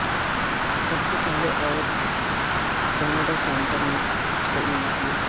سب سے پہلے عورت کینیڈا سینیٹر نے تعین کیا